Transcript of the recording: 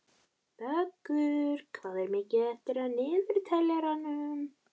Vöggur, hvað er mikið eftir af niðurteljaranum?